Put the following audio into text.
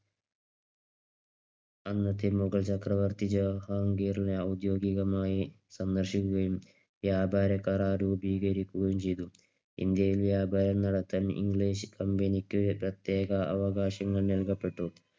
അന്നത്തെ മുഗൾ ചക്രവർത്തി ജഹാൻഗീറിനെ ഔദ്യോഗികമായി സന്ദർശിക്കുകയും വ്യാപാരകരാർ രൂപീകരിക്കുകയും ചെയ്തു. ഇന്ത്യയിൽ വ്യപാരം നടത്താൻ ഇംഗ്ലീഷ് Company ക്ക് പ്രതേകഅവകാശങ്ങൾ നൽകപ്പെട്ടു.